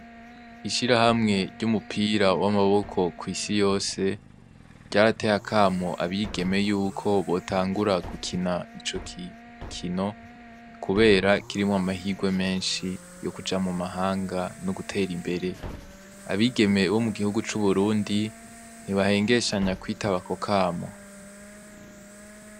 Ishirahamwe ryumupira wamaboko kwisi yose ryarateye akamo abigeme yuko botangura gukina icogikino kubera kirimwo amahirwe menshi yokuja mumahanga nogutera imbere abigeme bomugihugu cuburundi ntibahengeshanya kwitaba akokamo